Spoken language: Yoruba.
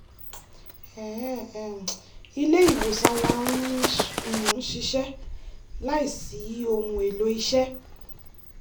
ilé ìwòsàn wá ń um ṣiṣẹ́ láìsí ohun-èlò iṣẹ́